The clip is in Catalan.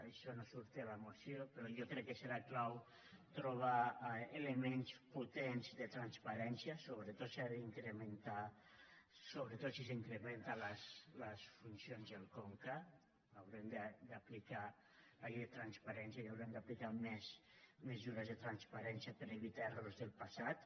això no sortia a la moció però jo crec que serà clau trobar elements potents de transparència sobretot si s’incrementen les funcions del conca haurem d’aplicar la llei de transparència i haurem d’aplicar més mesures de transparència per evitar errors del passat